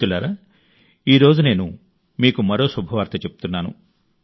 మిత్రులారా ఈ రోజు నేను మీకు మరో శుభవార్త చెప్తున్నాను